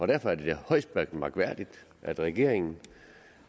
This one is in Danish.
derfor er det da højst mærkværdigt at regeringen